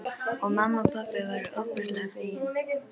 Og mamma og pabbi voru ofboðslega fegin.